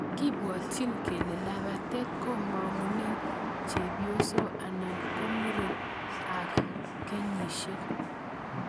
kibwatichini kele labatet komang'une chepyoso anan komuren ak kenyishek